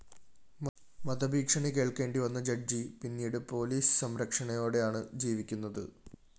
വധഭീഷണി കേള്‍ക്കേണ്ടി വന്ന ജഡ്ജ്‌ പിന്നീടു പോലിസ് സംരക്ഷണയോടെയാണ് ജീവിക്കുന്നത്